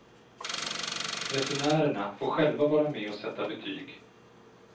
Resenärerna får själva vara med och sätta betyg.